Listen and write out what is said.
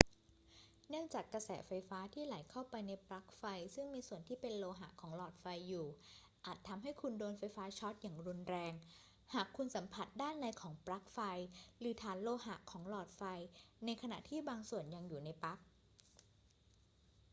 เนื่องจากกระแสไฟฟ้าที่ไหลเข้าไปในปลั๊กไฟซึ่งมีส่วนที่เป็นโลหะของหลอดไฟอยู่อาจทำให้คุณโดนไฟฟ้าช็อตอย่างรุนแรงหากคุณสัมผัสด้านในของปลั๊กไฟหรือฐานโลหะของหลอดไฟในขณะที่ยังบางส่วนอยู่ในปลั๊ก